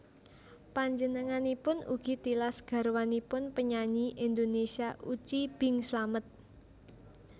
Panjenenganipun ugi tilas garwanipun penyanyi Indonesia Uci Bing Slamet